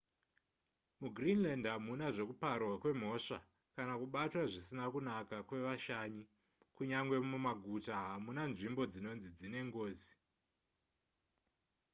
mugreenland hamuna zvekuparwa kwemhosva kana kubatwa zvisina kunaka kwevashanyi kunyange mumaguta hamuna nzvimbo dzinonzi dzine ngozi